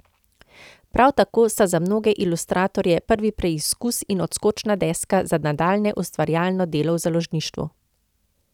Prav tako sta za mnoge ilustratorje prvi preizkus in odskočna deska za nadaljnje ustvarjalno delo v založništvu.